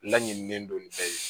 Laɲininen don ni bɛɛ ye